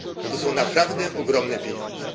Bo to są naprawdę ogromne pieniądze.